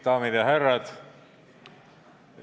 Daamid ja härrad!